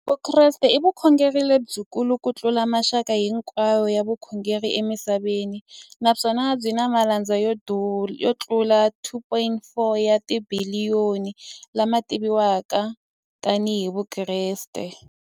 Vukreste i vukhongeri lebyi kulu kutlula mixaka hinkwayo ya vukhongeri emisaveni, naswona byi na malandza yo tlula 2.4 wa tibiliyoni, la ma tiviwaka tani hi Vakreste.